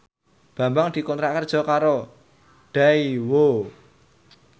Bambang dikontrak kerja karo Daewoo